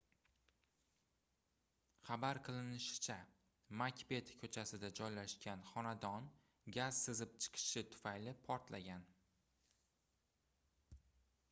xabar qilinishicha makbet koʻchasida joylashgan xonadon gaz sizib chiqishi tufayli portlagan